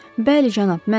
Bəli, cənab, mənəm.